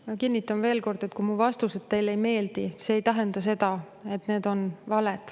Ma kinnitan veel kord, et kui mu vastused teile ei meeldi, see ei tähenda seda, et need on valed.